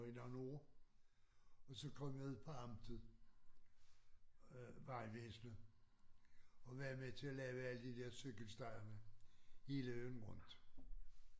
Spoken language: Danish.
I nogle år og så kom jeg ud på amtet øh vejvæsenet og var med til at lave alle de der cykelstierne hele øen rundt